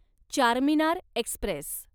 Charminar Express